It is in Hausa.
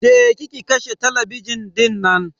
Je ki ki kashe talabijin dinnan